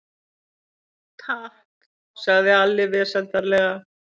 Takk, sagði Alli vesældarlega.